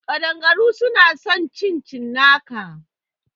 Ƙadangaru suna son cin cinnaka